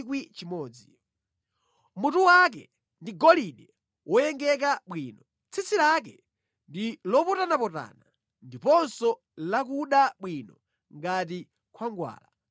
Mutu wake ndi golide woyengeka bwino; tsitsi lake ndi lopotanapotana, ndiponso lakuda bwino ngati khwangwala.